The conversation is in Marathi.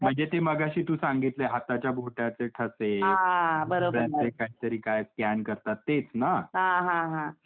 म्हणजे ते तू मगंशी तू सांगितले हाताचे बोटाचे ठसे म्हणजे यात काही तरी स्कॅन करतात तेच ना.